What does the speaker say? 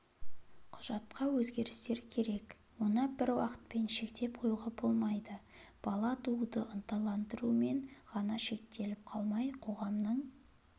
құжатқа өзгерістер керек оны бір уақытпен шектеп қоюға болмайды бала тууды ынталандырумен ғана шектеліп қалмай қоғамның